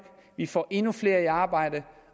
vi får endnu flere i arbejde